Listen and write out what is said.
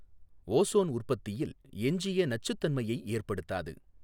Ozone உற்பத்தியில் எஞ்சிய நச்சுத்தன்மையை ஏற்படுத்தாது.